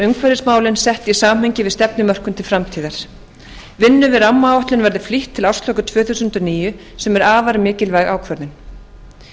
umhverfismálin sett í samhengi við stefnumörkun til framtíðar vinnu við rammaáætlun verði flýtt til ársloka tvö þúsund og níu sem er afar mikilvæg ákvörðun